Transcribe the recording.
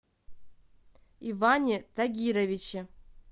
иване тагировиче